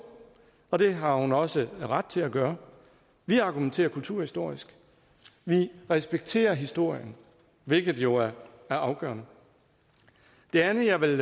og det har hun også ret til at gøre vi argumenterer kulturhistorisk vi respekterer historien hvilket jo er afgørende det andet jeg vil